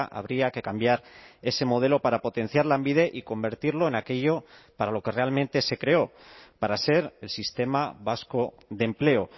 habría que cambiar ese modelo para potenciar lanbide y convertirlo en aquello para lo que realmente se creó para ser el sistema vasco de empleo